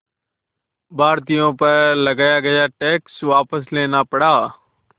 भारतीयों पर लगाया गया टैक्स वापस लेना पड़ा